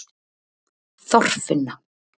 Þorfinna